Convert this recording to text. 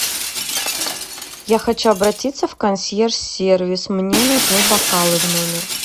я хочу обратиться в консьерж сервис мне нужны бокалы в номер